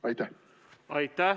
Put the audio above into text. Aitäh!